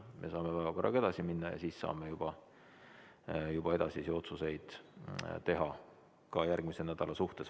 Me saame päevakorraga edasi minna ja siis saame juba edasisi otsuseid teha ka järgmise nädala suhtes.